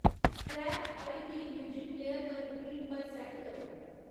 track ठाई गी music player पर रपीट पर सैट्ट करो